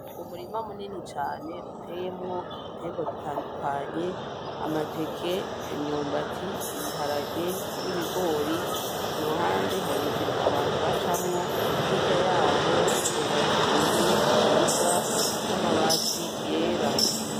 Umurima munini cane uteyemwo ibiterwa bitandukanye ; amateke , imyumbati , ibiharage n'ibigori kuruhande hari inzira abantu bacamwo hirya yaho hubatse inzu nziza z'amabati yera.